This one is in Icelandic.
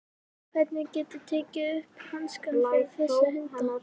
Hvernig geturðu tekið upp hanskann fyrir þessa hunda?